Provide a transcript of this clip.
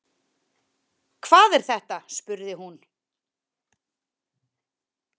Hvað er þetta spurði hún.